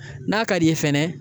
N'a ka d'i ye fɛnɛ